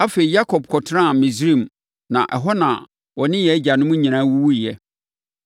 Afei Yakob kɔtenaa Misraim na ɛhɔ na ɔne yɛn agyanom nyinaa wuwuiɛ.